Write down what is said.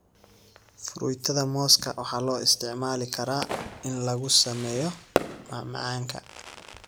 Fruitada mooska waxaa loo isticmaali karaa in lagu sameeyo macmacaanka.